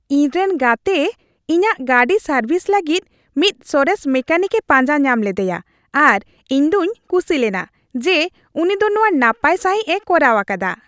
ᱤᱧᱨᱮᱱ ᱜᱟᱛᱮ ᱤᱧᱟᱹᱜ ᱜᱟᱹᱰᱤ ᱥᱟᱨᱵᱷᱤᱥ ᱞᱟᱹᱜᱤᱫ ᱢᱤᱫ ᱥᱚᱨᱮᱥ ᱢᱮᱠᱟᱱᱤᱠ ᱮ ᱯᱟᱸᱡᱟ ᱧᱟᱢ ᱞᱮᱫᱮᱭᱟ ᱟᱨ ᱤᱧ ᱫᱩᱧ ᱠᱩᱥᱤ ᱞᱮᱱᱟ ᱡᱮ ᱩᱱᱤ ᱫᱚ ᱱᱚᱶᱟ ᱱᱟᱯᱟᱭ ᱥᱟᱹᱦᱤᱡ ᱮ ᱠᱚᱨᱟᱣ ᱟᱠᱟᱫᱟ ᱾